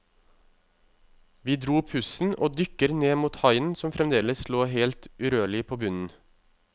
Vi dro pusten og dykker ned mot haien som fremdeles lå helt urørlig på bunnen.